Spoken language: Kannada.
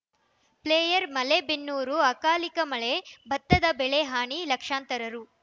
ಫ್ಲೈಯರ್ ಮಲೆಬೆನ್ನೂರು ಅಕಾಲಿಕ ಮಳೆ ಬತ್ತದ ಬೆಳೆ ಹಾನಿ ಲಕ್ಷಾಂತರ ರು